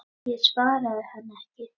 Ég svaraði henni ekki.